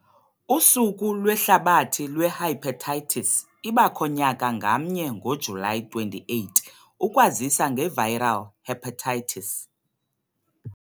Usuku Lwehlabathi Lwehepatitis ibakho nyaka ngamnye ngoJulayi 28 ukwazisa ngeviral hepatitis.